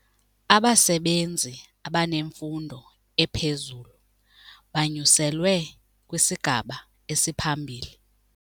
Abasebenzi abanemfundo ephezulu banyuselwe kwisigaba esiphambili.